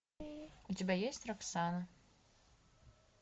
у тебя есть роксана